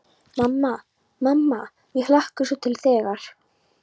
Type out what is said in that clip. Mamma, mamma mér hlakkar svo til þegar.